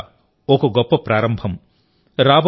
ఇది ఖచ్చితంగా ఒక గొప్ప ప్రారంభం